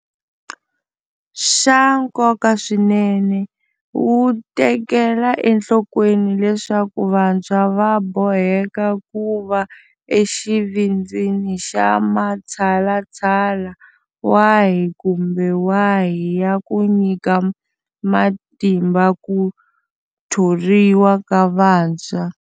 Xa nkoka swinene, wu tekela enhlokweni leswaku vantshwa va boheka ku va exivindzini xa matshalatshala wahi kumbe wahi ya ku nyika matimba ku thoriwa ka vantshwa.